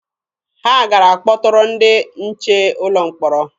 Ha gara kpọtụrụ ndị nche ụlọ mkpọrọ.